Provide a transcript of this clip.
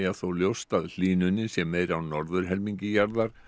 þó ljóst að hlýnunin sé meiri á norðurhelmingi jarðar